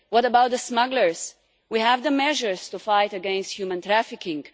What about the smugglers? We have the measures to fight against human trafficking.